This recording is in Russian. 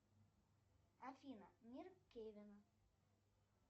афина мир кевин